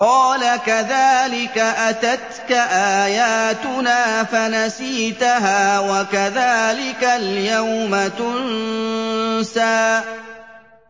قَالَ كَذَٰلِكَ أَتَتْكَ آيَاتُنَا فَنَسِيتَهَا ۖ وَكَذَٰلِكَ الْيَوْمَ تُنسَىٰ